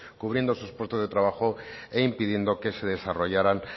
cubriendo esos puestos de trabajo e impidiendo que se desarrollaran